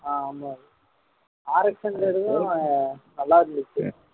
ஆஹ் ஆமா RX ன்றதும் நல்லா இருந்துச்சு